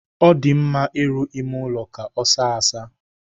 Ọ dị mma ịrụ ime ụlọ ka ọ saa asaa.